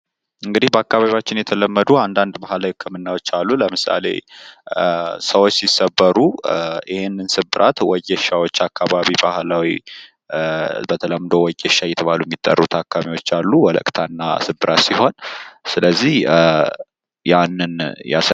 እንግዲህ በአካባቢያችን የተለመዱ አንዳንድ ባህላዊ ህክምናዎች አሉ። ለምሳሌ ሰዎች ሲሰበሩ ይሄንን ስብራት ወጌሻዎች አካባቢ ባህላዊ በተለምዶ ወጌሻ እየተባሉ የሚጠሩ አካሚዎች አሉ። ወለቅታና ስብራት ሲሆን ስለዚህ ያንን